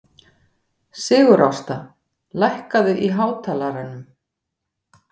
Sigurásta, lækkaðu í hátalaranum.